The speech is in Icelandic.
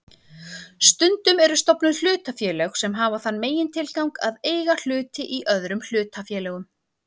Stundum eru stofnuð hlutafélög sem hafa þann megintilgang að eiga hluti í öðrum hlutafélögum.